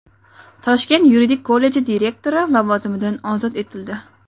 Toshkent yuridik kolleji direktori lavozimidan ozod etildi.